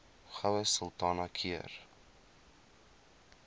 goue sultana keur